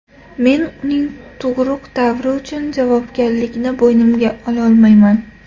Men uning tug‘uruq davri uchun javobgarlikni bo‘ynimga ololmayman.